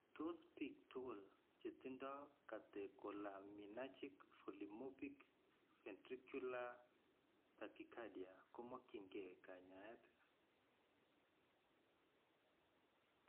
Tos biik tugul chetindo catecholaminergic polymorphic ventricular tachycardia komakyin keey kanyaayet?